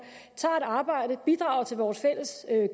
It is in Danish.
tager et arbejde og bidrager til vores fælles